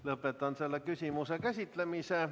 Lõpetan selle küsimuse käsitlemise.